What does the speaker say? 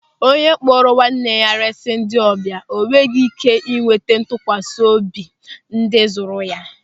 Onye kpụụrụ nwanne ya resị ndị ọbịa enweghị ị́ké ịnweta ntụkwasị obi ndị zụrụ ya.